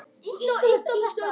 Þegar hið virta